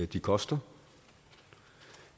det koster